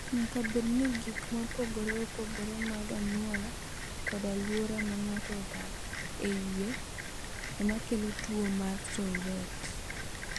"Nyaka bed ni gik mopogore opogore mag anyuola kod alwora ma ng’ato odak e iye ema kelo tuwo mar Tourette."